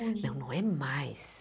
Não, não é mais.